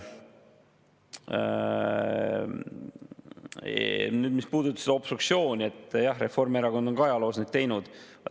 Nagu oli eelmises valitsuses, mida juhtis Reformierakond, sest tagantjärgi selgus, et kõik olulisemad otsused, mis vastu võeti, olid koalitsioonipartneri väljapressitud ja nüüd tuleb kõik ümber pöörata.